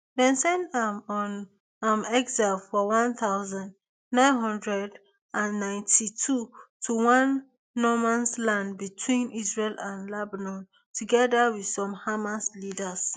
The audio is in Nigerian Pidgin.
dem send am on um exile for one thousand, nine hundred and ninety-two to one nomansland between israel and lebanon togeda wit some hamas leaders